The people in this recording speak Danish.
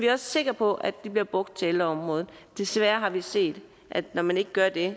er sikre på at de bliver brugt til ældreområdet desværre har vi set at når man ikke gør det